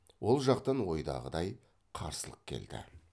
ол жақтан ойдағыдай қарсылық келді